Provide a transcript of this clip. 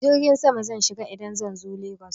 Jirgin sama zan shiga idan zan zo Legas.